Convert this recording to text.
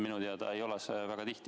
Minu teada ei ole see väga tihti.